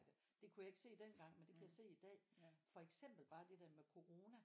Det kunne jeg ikke se den gang men det kan jeg se i dag for eksempel bare det der med corona